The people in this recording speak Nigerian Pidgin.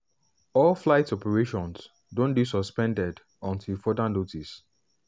all flight operations don dey suspended until further notice.